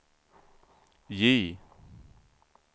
J